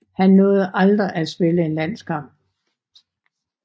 Han nåede aldrig at spille en landskamp